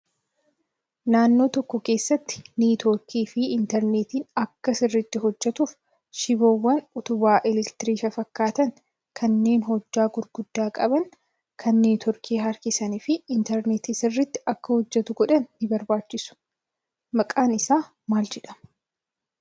Naannoo tokko keessatti niitoorkii fi intarneertiin Akka sirriitti hojjatuuf shiboowwan utubaa elektiriikii fafakkaatan kanneen hojjaa gurguddaa qaban kan niitoorkii harkisanii fi intarneertiin sirriitti Akka hojjatu godhan ni barbaachisu. Maqaan isaa maal jedhama?